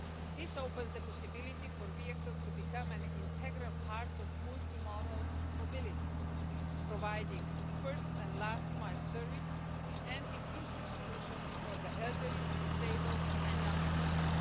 This opens the possibility for vehicles to become an integral part of multimodal mobility, providing first and last-mile service and inclusive solutions for the elderly, disabled, and young people.